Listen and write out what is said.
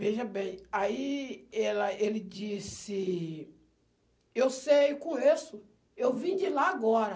Veja bem, aí ela ele disse, eu sei, eu conheço, eu vim de lá agora.